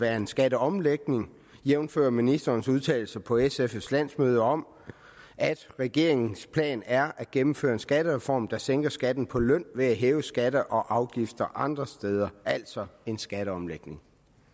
være en skatteomlægning jævnfør ministerens udtalelse på sfs landsmøde om at regeringens plan er at gennemføre en skattereform der sænker skatten på løn ved at hæve skatter og afgifter andre steder altså en skatteomlægning